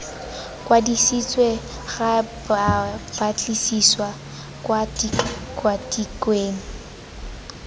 kwadisiwa ga babatlisisi kwa tikwatikweng